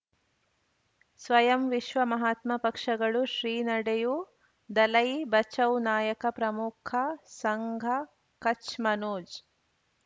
ಸ್ವಯಂ ವಿಶ್ವ ಮಹಾತ್ಮ ಪಕ್ಷಗಳು ಶ್ರೀ ನಡೆಯೂ ದಲೈ ಬಚೌ ನಾಯಕ ಪ್ರಮುಖ ಸಂಘ ಕಚ್ ಮನೋಜ್